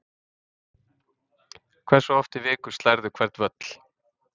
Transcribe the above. Hversu oft í viku slærðu hvern völl?